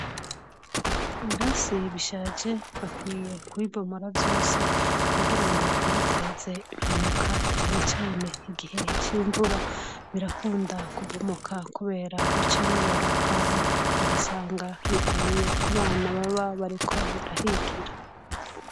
Ibirasi bishaje bakwiye kubibomora vyose kugirango ntibiteze impanuka cane cane igihe cimvura birakunda kubomoka kubera bica bibora hama ugasanga biguye kubana baba bariko barahigira